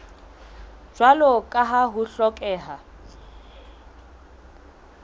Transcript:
jwalo ka ha ho hlokeha